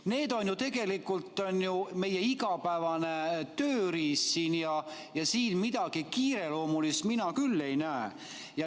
Need on ju tegelikult meie igapäevane tööriist siin ja siin midagi kiireloomulist mina küll ei näe.